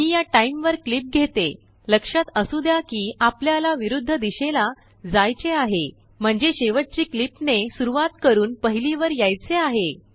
मी याटाइम वर क्लिप घेतेलक्षात असू द्या कि आपल्याला विरुद्ध दिशेला जायचेआहे म्हणजे शेवटची क्लिपने सुरुवात करून पहिली वर यायचे आहे